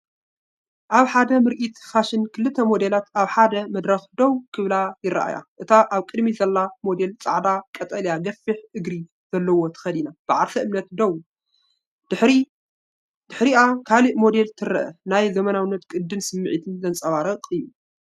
ኣብ ሓደ ምርኢት ፋሽን ክልተ ሞዴላት ኣብ ሓደ መድረኽ ደው ክብላ ይረኣያ። እታ ኣብ ቅድሚት ዘላ ሞዴል ጻዕዳ ቀጠልያ ገፊሕ እግሪ ዘለዎ ተኸዲና ብዓርሰ እምነት ደው፣ ድሕሪኣ ካልእ ሞዴል ትርአ። ናይ ዘመናዊነትን ቅዲን ስምዒት ዘንጸባርቕ እዩ።